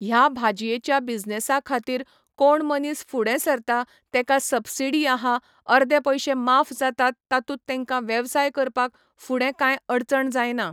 ह्या भाजयेच्या बिजनेसा खातीर कोण मनीस फुडें सरता तेका सब्सिडी आहा अर्दे पयशे माफ जातात तातुंत तेंका वेवसाय करपाक फुडें कांय अडचण जायना